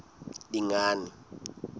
dingane